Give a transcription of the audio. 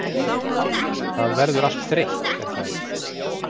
það verður allt þreytt er það ekki?